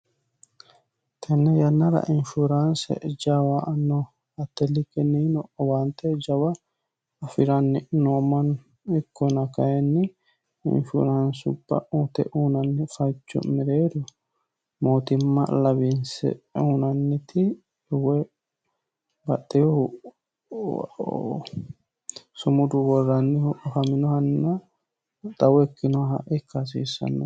tenne yannara inshuraanse jawano attelli kenniino owaante jawa afi'ranni noommano ikkona kayinni infuraansupha ute unanni fachu mireero mootimma lawiinse uunanniti w baxxiuhuw somudu worrannihu afaminohanna xawo ikkinoha ikka hasiissanno